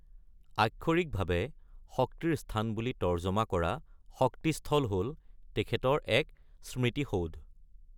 আক্ষৰিকভাৱে শক্তিৰ স্থান বুলি তৰ্জমা কৰা শক্তি স্থল হ'ল তেখেতৰ এক স্মৃতিসৌধ।